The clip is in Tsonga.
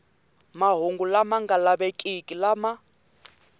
mahungu lama nga lavekiki lama